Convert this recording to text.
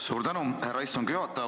Suur tänu, härra istungi juhataja!